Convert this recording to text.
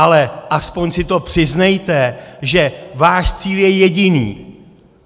Ale aspoň si to přiznejte, že váš cíl je jediný!